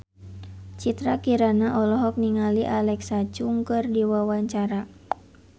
Citra Kirana olohok ningali Alexa Chung keur diwawancara